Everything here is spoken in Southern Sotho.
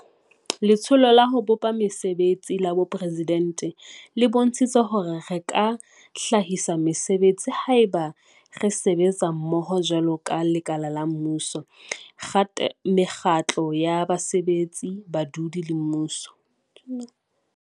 Letsholo la ho bopa Mese betsi la Boporesidente e bontshitse hore re ka hlahisa mesebetsi haeba re sebetsa mmoho jwaloka lekala la mmuso, mekgatlo ya basebetsi, badudi le mmuso.